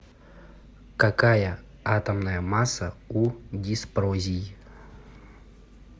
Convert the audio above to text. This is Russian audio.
какая атомная масса у диспрозий